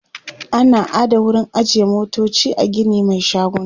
ana ada wurin ajiye motoci a Gini Mai shaguna